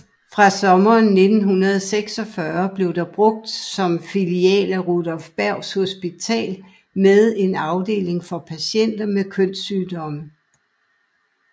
Fra sommeren 1946 blev det brugt som filial af Rudolph Berghs Hospital med en afdeling for patienter med kønssygdomme